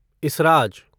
इसराज